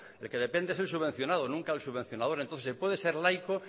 el que depende es el subvencionado nunca el subvencionador entonces se puede ser laico